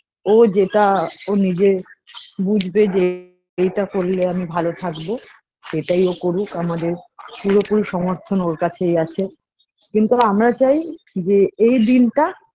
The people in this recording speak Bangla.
ও যেটা ও নিজে বুঝবে যে এটা করলে আমি ভালো থাকবো সেটাই ও করুক আমাদের পুরোপুরি সমথর্ন ওর কাছেই আছে কিন্তু আমরা চাই যে এ দিনটা